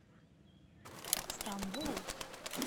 стамбул